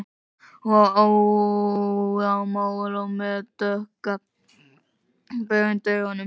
Hún var óðamála og með dökka bauga undir augunum